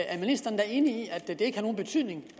at ministeren er enig i at det ikke har nogen betydning